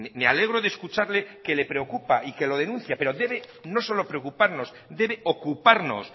me alegro de escucharle que le preocupa y que lo denuncia pero debe no solo preocuparnos debe ocuparnos